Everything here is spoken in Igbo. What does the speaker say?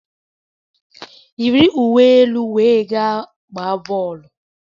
Yiri uwe elu wee gaa gbaa bọọlụ!